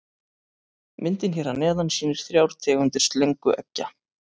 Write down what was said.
Myndin hér að neðan sýnir þrjár tegundir slöngueggja.